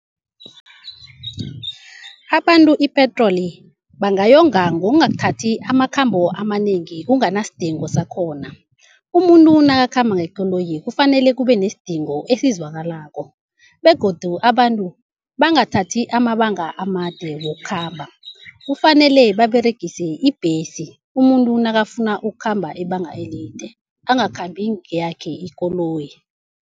Abantu ipetroli bangayonga ngongathathi amakhambo amanengi kunganasidingo sakhona. Umuntu nakakhamba ngekoloyi kufanele kubenesidingo esizwakalako, begodu abantu bangathathi amabanga amade wokukhamba, kufanele baberegise ibhesi. Umuntu nakafuna ukhamba ibanga elide angakhambi ngeyakhe ikoloyi.